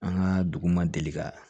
An ka dugu ma deli ka